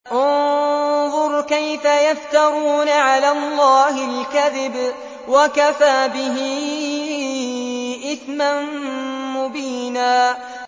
انظُرْ كَيْفَ يَفْتَرُونَ عَلَى اللَّهِ الْكَذِبَ ۖ وَكَفَىٰ بِهِ إِثْمًا مُّبِينًا